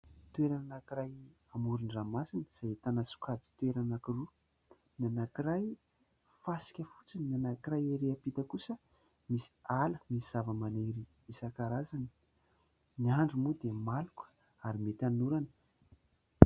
Toerana anankiray amoron-dranomasina izay ahitana sokajin-toerana anankiroa ; ny anankiray fasika fotsiny ny anankiray ery am-pita kosa misy ala, misy zavamaniry isankarazany. Ny andro moa dia maloka ary mety hanorana.